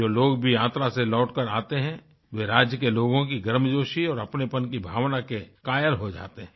जो लोग भी यात्रा से लौटकर आते हैं वे राज्य के लोगों की गर्मजोशी और अपनेपन की भावना के कायल हो जाते हैं